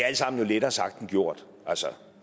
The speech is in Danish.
alt sammen lettere sagt end gjort altså